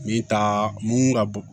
Min ta mun ka bon